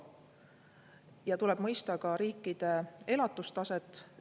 Ja tuleb ka riikide elatustaset.